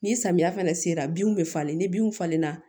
Ni samiya fɛnɛ sera binw be falen ni binw falen na